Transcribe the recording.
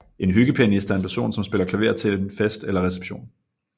En hyggepianist er en person som spiller klaver til en fest eller reception